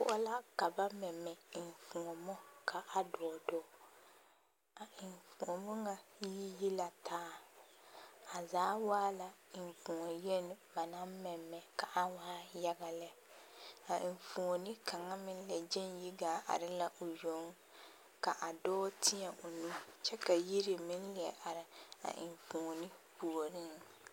Koɔ poɔ la ka ba mɛ enfuomo kaa dɔɔ dɔɔ a enfuomo ŋa yi yi la taa a zaa waa la enfuo yeni ba naŋ mɛmɛ kaa waa yaya lɛ a enfuoni kaŋa meŋ la gyeŋ yi are la o yoŋ ka a dɔɔ teɛ o nu kyɛ ka yiri meŋ leɛ are a enfuoni puoreŋ.